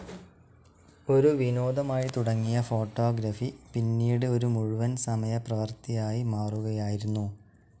ഒരു വിനോദമായി തുടങ്ങിയ ഫോട്ടോഗ്രാഫി പിന്നീട് ഒരു മുഴുവൻ സമയ പ്രവൃത്തി ആയി മാറുകയായിരുന്നു.